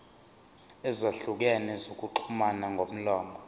ezahlukene zokuxhumana ngomlomo